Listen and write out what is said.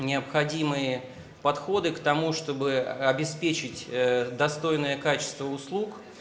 необходимые подходы к тому чтобы обеспечить достойное качество услуг